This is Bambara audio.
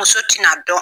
Muso tɛna dɔn